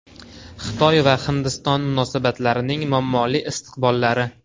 Xitoy va Hindiston munosabatlarining muammoli istiqbollari.